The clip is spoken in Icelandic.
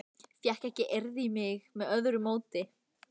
Fékk ekki eirð í mig með öðru móti.